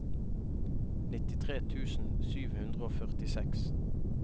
nittitre tusen sju hundre og førtiseks